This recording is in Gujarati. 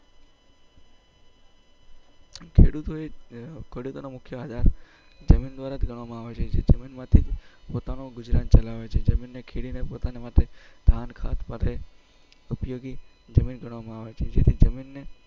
ખેડૂતોનો મુખ્ય આધાર જમીન દ્વારા કરવામાં આવે છે તેમાંથી પોતાનું ગુજરાન ચલાવે છે જિમીન ને ખેડીને પોતાના માટે ધાન